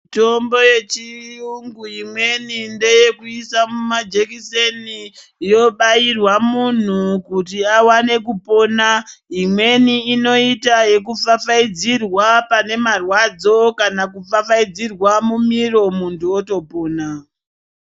Mitombo yechiyungu imweni, ndeyekuisa mumajekiseni yobairwa munhu kuti awane kupona, imweni inoita yekufafaidzirwa panemarwadzo kana kufafaidzirwa mumiromo muntu wotopona